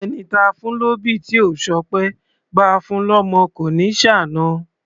Ẹni táa fún lóbì tí ò ṣọpẹ́, báa fun lọ́mọ kò ní ṣàna.